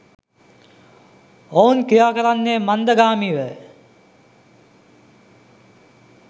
ඔවුන් ක්‍රියාකරන්නේ මන්දගාමීවය.